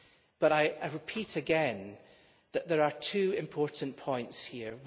But I repeat that there are two important points here.